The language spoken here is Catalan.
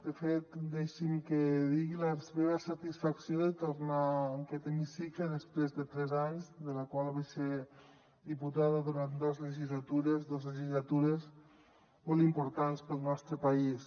de fet deixi’m que digui la meva satisfacció de tornar en aquest hemicicle després de tres anys de la qual vaig ser diputada durant dos legislatures dos legislatures molt importants per al nostre país